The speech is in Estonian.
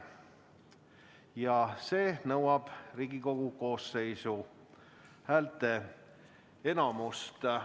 Selle heakskiitmine nõuab Riigikogu koosseisu häälteenamust.